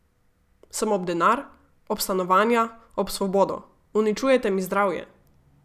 Sem ob denar, ob stanovanja, ob svobodo, uničujete mi zdravje.